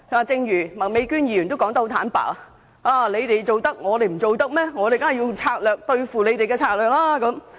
正如麥美娟議員說得坦白，既然我們可以這樣做，為何他們不可以？